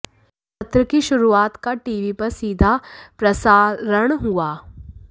सत्र की शुरुआत का टीवी पर सीधा प्रसारण हुआ